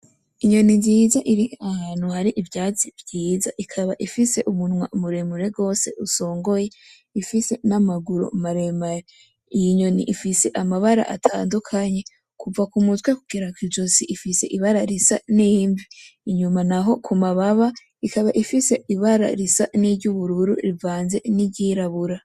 Inyoni nziza iri ahantu hari ivyatsi vyiza ikaba ifise umunwa muremure gose usongoye, ifise n'amaguru maremare. Iyi nyoni ifise amabara atandukanye kuva ku mutwe gugera kw'ijosi ifise ibara risa n'imvi, inyuma naho ku mababa ikaba ifise ibara risa n'iry'ubururu rivanze n'iry'irabura.